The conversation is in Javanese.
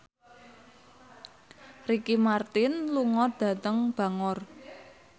Ricky Martin lunga dhateng Bangor